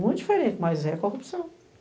Muito diferente, mas é corrupção.